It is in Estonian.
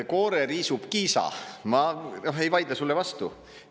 Koore riisub Kiisa, ma ei vaidle sulle vastu.